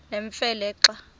nemfe le xa